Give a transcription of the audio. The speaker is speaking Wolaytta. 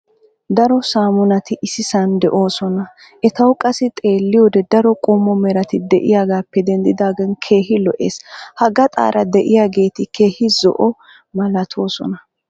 daro saamunati issisan doosona. etawu qassi xeelliyoode daro qommo merat diyoogaappe dendidaagan keehi lo'ees. ha gaxaara diyaageti keehi zo'o malatoosona.